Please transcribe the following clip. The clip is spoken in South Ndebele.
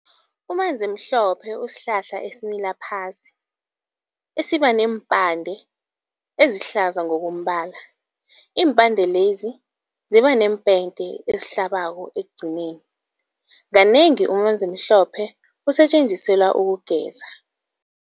Umanzimhlophe usihlahla esimila phasi esiba neempande ezihlaza ngokombala. Iimpande lezi ziba neempende ezihlabako ekugcineni. Kanengi umanzimhlophe usetjenziselwa ukugeza.